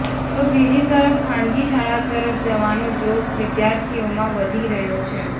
તો બીજી તરફ ખાનગી શાળા તરફ જવાનો ઝોક વિદ્યાર્થીઓમાં વધી રહ્યો છે